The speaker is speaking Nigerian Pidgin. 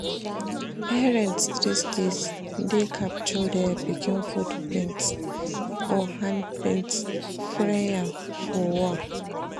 Parents these days dey capture their pikin footprints or handprints frame am for wall